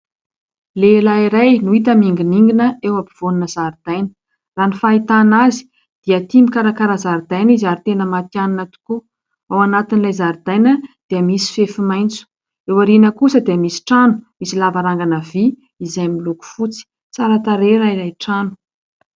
Lehilahy iray no hita miningoningina eo afovoan'ny zaridaina. Raha ny fahitana azy dia tia mikarakara zaridaina izy ary tena matianina tokoa. Ao anatin'ilay zaridaina dia misy fefy maitso. Eo aorihana kosa dia misy trano misy lavarangana vy izay miloko fotsy tsara tarehy raha ilay trano.